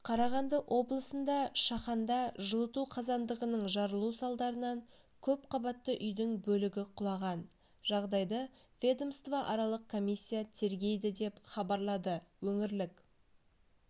қарағанды облысында шаханда жылыту қазандығының жарылу салдарынан көп қабатты үйдің бөлігі құлаған жағдайды ведомствоаралық комиссия тергейді деп хабарлады өңірлік